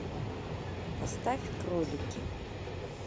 поставь кролики